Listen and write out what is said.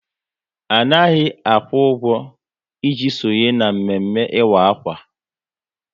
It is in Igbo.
Anaghị akwụ ụgwọ, ị ji sonye na mme mme ịkwa akwa